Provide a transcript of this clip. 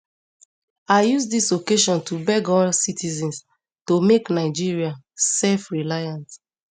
i use dis occasion to beg all citizens to make nigeria selfreliant